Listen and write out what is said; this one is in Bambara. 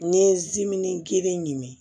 N'i ye zimin kelen ɲimi